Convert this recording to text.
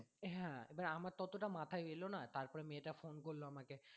হ্যাঁ এবার আমার তো অতোটা মাথায় এলোনা তারপর মেয়ে টা phone করলো আমাকে